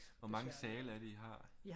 Hvor mange sale er det I har